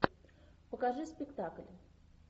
покажи спектакль